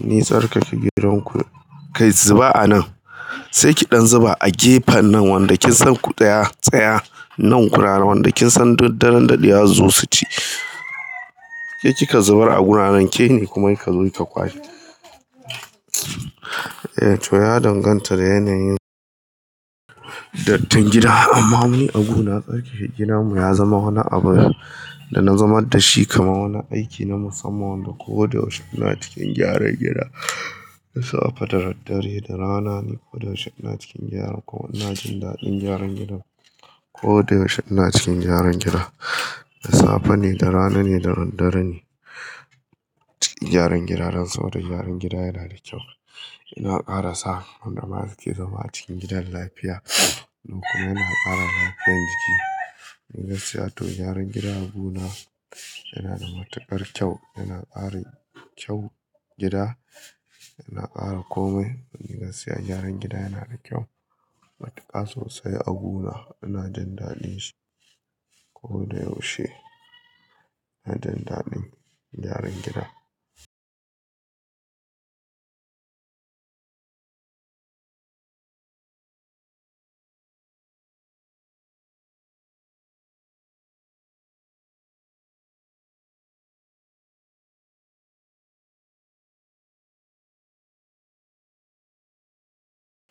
Nitsarkake gidanku, kai zuba a nan, sai ki ɗan zuba a gefen nan wanda kinsan ku tsaya nan kuraye wanda kinsan duk daddare daɗewa zasuzo suci. Ke kika zubar a guraren kene kuma kika zo ki ka kwashe. Eh to ya danganta da yanayin dattin gida amma mu abu na tsarkake gida mu ya zama wani abun da na zama da shi kamar wani aiki na musamman wanda koda yaushe ina cikin gyaran gida. Da safe da dare da rana ne koda yaushe ina cikin gyara kuma ina jin daɗin gyaran gida. Koda yaushe ina cikin gyaran gida. Da safe ne da rana ne da dare ne. Gyaran gida don saboda gyaran gida yana da kyau. Yana ƙara sa wanda suke zama cikin gidan lafiya kuma yana ƙara lafiyar jiki. Ni gaskiya to gyaran gida agu na yana da matuƙar kyau, yana ƙara kyau gida, yana ƙara komai. Domin gaskiya gyaran gida yana da kyau. Matuƙa sosai agu na ina jin daɗin shi. Koda yaushe ina jin daɗin gyaran gida.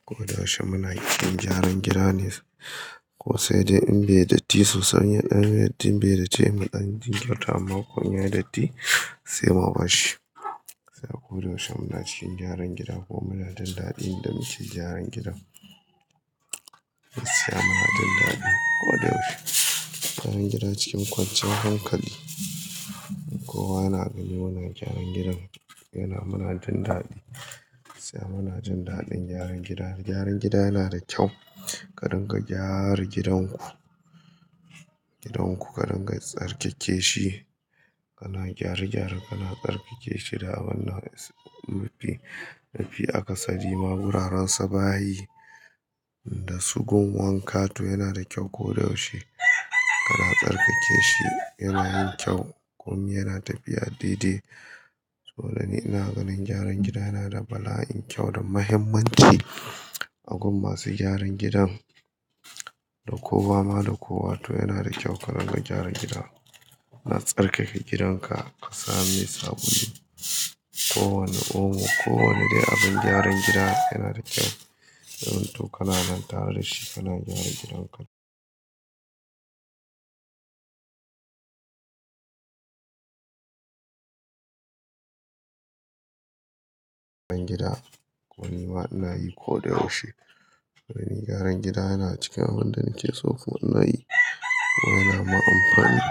Koda yaushe muna cikin gyaran gida ne. Ko sai dai in bai datti sosai, ɗan bai datti, muɗan jinkirta amma ko in yayi datti, sai mamashi. Sai koda yaushe muna cikin gyaran gida kuma muna jin daɗin yanda muke gyaran gidan. Gaskiya muna jin daɗi. Koda yaushe gyaran gida cikin kwanciyar hankali. Kowa yana gani muna gyaran gidan yana muna jin daɗi. Gaskiya muna jin daɗin gyaran gida. Gyaran gida yana da kyau. Ka dinga gyara gidan ku. Gidan ku ka dinga tsarkake shi. Kana gyare gyare kana tsarkake shi da wannan mafi mafi akasari ma wuraren su bayi. Da su gun wanka to yana da kyau koda yaushe. Kana tsarkake shi yana yin kyau komi yana tafiya daidai. To ni ina ganin gyaran gida yana da bala'in kyau da mahimmanci. A gun masu gyaran gidan da kowa ma da kowa to yana da kyau ka dinga gyara gida. Na tsarkake gidanka ka sa mai sabulu. Ko wane omo, ko wane dai abin gyaran gida yana da kyau. Ya zamanto kana nan tare da shi kana gyara gidan ka. Gida, don nima ina yi koda yaushe. Domin gyaran gida yana cikin abunda nake so kuma inayi. Don yana min amfani.